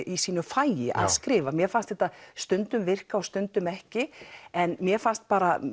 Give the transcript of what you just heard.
í sínu fagi að skrifa mér fannst þetta stundum virka og stundum ekki en mér fannst